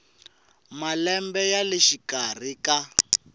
malembe ya le xikarhi ka